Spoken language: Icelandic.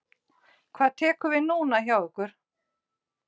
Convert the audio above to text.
Hvað tekur við núna hjá ykkur?